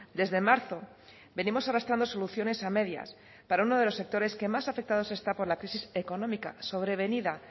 desde marzo venimos arrastrando soluciones a medias para uno de los sectores que más afectados está por la crisis económica sobrevenida